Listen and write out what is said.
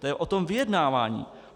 To je o tom vyjednávání.